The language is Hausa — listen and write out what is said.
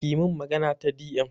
ki min magana ta di em